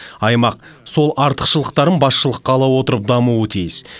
аймақ сол артықшылықтарын басшылыққа ала отырып дамуы тиіс